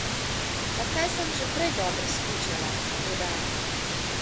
Pa saj sem že prej dobro smučala, toda...